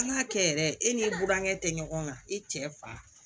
An ka kɛ yɛrɛ e ni burankɛ tɛ ɲɔgɔn kan i cɛ fa